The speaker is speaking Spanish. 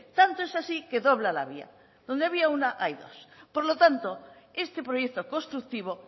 tanto es así que dobla la vía donde había una hay dos por lo tanto este proyecto constructivo